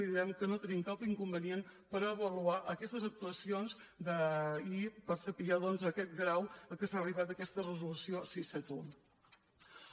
li diem que no tenim cap incompliment a avaluar aquestes actuacions i a saber doncs aquest grau a què s’ha arribat d’aquesta reso·lució sis cents i setanta un